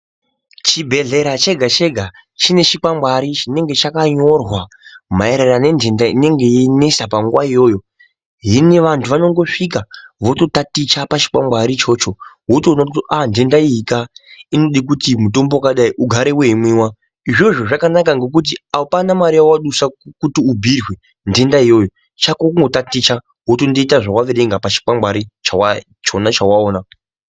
Chibhehlera chega-chega chine chikwangwari chinenge chakanyorwa maererano nentandani enengenyeinsesa panguwa iyoyo hino vantu vanosvika vototaticha pachikwangwarinchona ichocho wotoona kuti ah ntenda iyika inode kuti mutombo wakadai ugare weimwiwa, izvozvo zvakanaka ngekuti apana mare yawadusa kuti ubhuirwe ntanda iyoyo chako chakonkundotaticha wotonoita zvawaverenga pachikwangwari ichona.